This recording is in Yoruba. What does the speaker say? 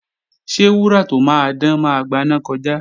Ṣé wúrà tó máa dán máa gbaná kọjá?